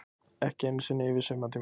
Ekki einu sinni yfir sumartímann.